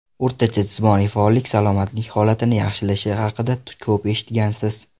O‘rtacha jismoniy faollik salomatlik holatini yaxshilashi haqida ko‘p eshitgansiz.